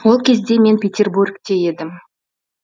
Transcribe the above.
ол кезде мен петербургте едім